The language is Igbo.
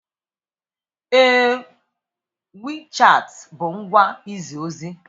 Ee, WeChat bụ ngwa izi ozi.